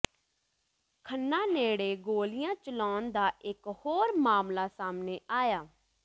ਖੰਨਾ ਨੇੜੇ ਗੋਲੀਆਂ ਚਲਾਉਣ ਦਾ ਇਕ ਹੋਰ ਮਾਮਲਾ ਸਾਹਮਣੇ ਆਇਆ